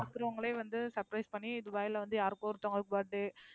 இங்க இருக்கவங்களே வந்து surprise பண்ணி, துபாய்ல வந்து யாருக்கோ ஒருத்தவங்க birthday